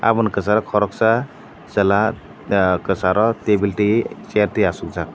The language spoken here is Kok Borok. bo ni kchar o koroksa chwla kcharo tin building chair tai achuk jak.